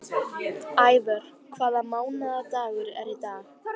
Ævör, hvaða mánaðardagur er í dag?